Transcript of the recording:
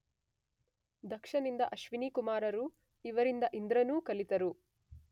ದಕ್ಷನಿಂದ ಅಶ್ವಿನೀ ಕುಮಾರರೂ ಇವರಿಂದ ಇಂದ್ರನೂ ಕಲಿತರು.